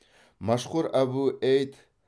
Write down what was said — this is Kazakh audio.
машхур абу эйд